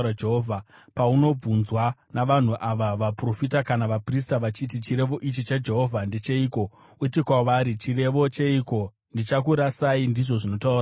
“Paunobvunzwa navanhu ava, vaprofita kana vaprista, vachiti, ‘Chirevo ichi chaJehovha ndecheiko?’ uti kwavari, ‘Chirevo cheiko? Ndichakurasai, ndizvo zvinotaura Jehovha.’